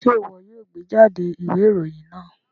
Ṣe iwọ yoo gbejade iwe iroyin naa